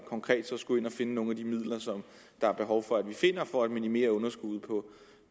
konkret skulle finde nogle af de midler som der er behov for at vi finder for at minimere underskuddet